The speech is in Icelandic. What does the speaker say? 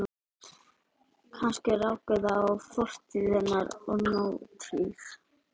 Kannski rákust þar á fortíð hennar og nútíð.